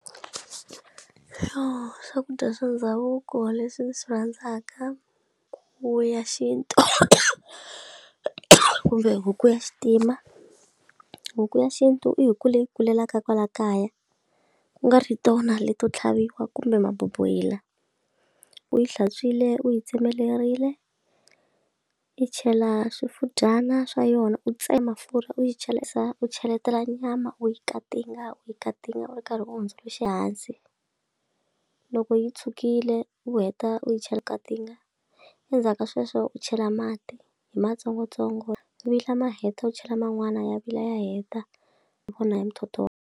Yoh swakudya swa ndhavuko leswi swi rhandzaka wu ya xintu kumbe huku ya xitima huku ya xintu i hi ku leyi kulelaka kwala kaya ku nga ri tona leto tlhaviwa kumbe maboboyila u yi hlantswiwile u yi tsemeleriwile yi chela swifudyana swa yona u tsema pfurha u yi chela yisa u cheletela nyama u yi katinga u yi katinga u ri karhi u hundzuluxe hansi loko yi tshukile u heta u yi chela katinga endzhaku ka sweswo u chela mati hi ma tsongotsongo i vi ma heta u chela man'wana ya vila ya heta hi vona hi muthotho wa.